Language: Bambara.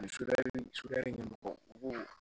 Ni suya b'o